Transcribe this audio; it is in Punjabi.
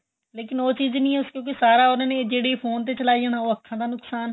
ਲੇਕਿਨ ਉਹ ਚੀਜ ਨਹੀਂ ਏ ਕਿਉਂਕਿ ਸਾਰਾ ਉਹਨਾ ਨੇ ਜਿਹੜਾ ਫੋਨ ਚਲਾਈ ਜਾਣਾ ਉਹ ਅੱਖਾਂ ਦਾ ਨੁਕਸ਼ਾਨ ਏ